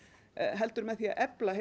heldur með því að efla